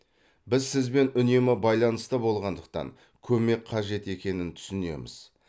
біз сізбен үнемі байланыста болғандықтан көмек қажет екенін түсінеміз